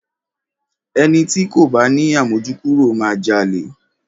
Ẹni ti kò bá ni àmójúkúrò máa jalè.